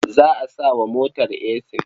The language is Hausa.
Za a sa wa motar esin.